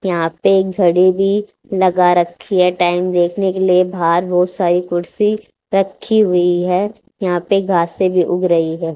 यहां पे घड़ी भी लगा रखी है टाइम देखने के लिए बाहर बोहोत सारी कुर्सी रखी हुई है यहां पे घासें से भी उग रही है।